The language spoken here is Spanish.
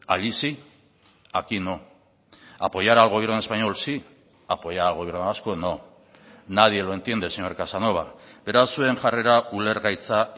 allí sí aquí no apoyar al gobierno español sí apoyar al gobierno vasco no nadie lo entiende señor casanova beraz zuen jarrera ulergaitza